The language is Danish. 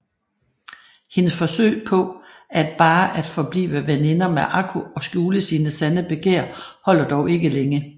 Hendes forsøg på at bare at forblive veninder med Akko og skjule sine sande begær holder dog ikke længe